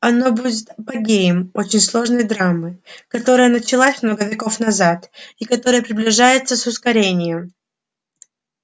оно будет апогеем очень сложной драмы которая началась много веков назад и которая приближается с ускорением